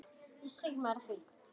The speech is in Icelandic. Hvað segir maður við því?